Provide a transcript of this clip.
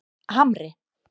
Hamri